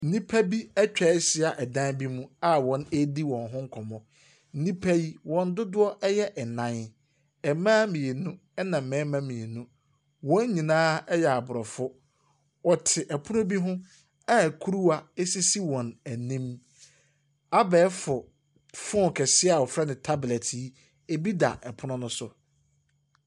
Nnipa bi atwahyia ɛdan bi mu a wɔredi wɔn ho nkɔmmɔ. Nnipa yi wɔn dodoɔ ɛyɛ ɛnan. Mmaa mmienu na mmarimma mmienu. Wɔn nyinaa yɛ abrɔfo. Wɔte ɛponno bi ho a kuruwa esisi wɔn anim. Abɛɛfo phone kɛseɛ a wɔfrɛ no tablet yi ebi da ɛpono no so.